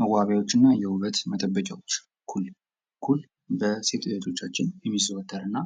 መዋቢያዎችን እና የውበት መጠበቂያዎች ፦ኩል ፦ኩል በሴቶች እህቶቻችን የሚዘወተር እና